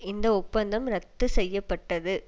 இந்த ஒப்பந்தம் இரத்து செய்ய பட்டது